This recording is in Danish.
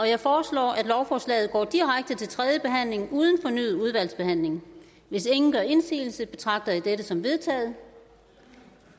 jeg foreslår at lovforslaget går direkte til tredje behandling uden fornyet udvalgsbehandling hvis ingen gør indsigelse betragter jeg dette som vedtaget